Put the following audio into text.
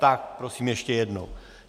Tak prosím ještě jednou.